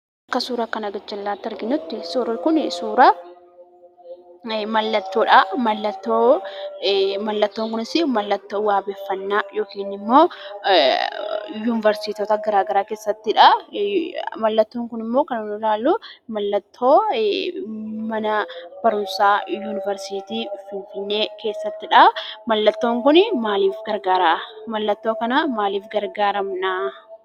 Suura kana gar-jallaatti arginutti, suurri Kuni, suura mallattoodhaa. Mallattoo kunis mallattoo wabeeffannaa yokiin immoo Yuuniversiitota garaagaraa keessattidha. Mallattoon Kun immoo kan ilaalluu, mallattoo mana barumsaa Yuuniversiitii Finfinnee keessattidha. Mallattoon Kun maaliif gargaara?, mallattoo kana maaliif gargaaramnaa?